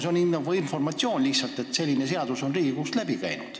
See on lihtsalt nagu informatsioon, et selline seadus on Riigikogust läbi käinud.